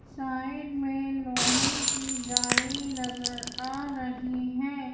Side में लोहे की जाली नजर आ रही है।